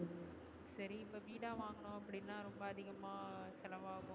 சரி இப்போ வீடா வாங்குனோம் அப்டினா ரொம்ப அதிகமா செலவாகும்